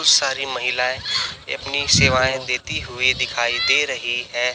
बहुत सारी महिलाएं ये अपनी सेवाएं देती हुई दिखाई दे रही हैं।